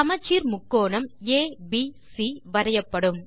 சமச்சீர் முக்கோணம் ஏபிசி வரையப்படும்